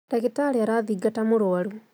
Ndagĩtarĩ arathingata mũrũarũ